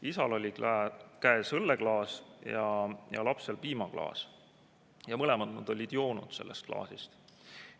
Isal oli käes õlleklaas ja lapsel piimaklaas, nad mõlemad olid joonud oma klaasist.